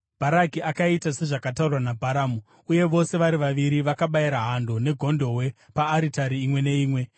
Bharaki akaita sezvakataurwa naBharamu, uye vose vari vaviri vakabayira hando negondobwe paaritari imwe neimwe.